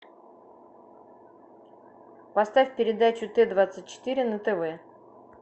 поставь передачу т двадцать четыре на тв